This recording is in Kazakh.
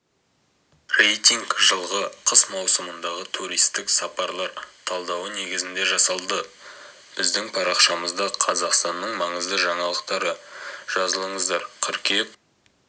рейтинг жылғы қыс маусымындағы туристік сапарлар талдауы негізінде жасалды біздің парақшамызда қазақстанның маңызды жаңалықтары жазылыңыздар қыркүйек